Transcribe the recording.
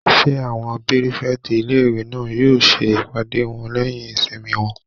Ṣé àwọn pírífẹ̀tì ilé-ìwé náà yóò ṣe ìpàdé wọn lẹ́yìn ìsinmi wọn?